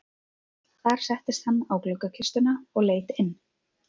Þar settist hann á gluggakistuna og leit inn.